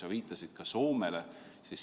Sa viitasid Soomele.